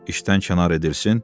İşdən kənar edilsin.